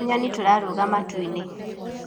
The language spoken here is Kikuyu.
tũnyoni tũrarũga matuinĩ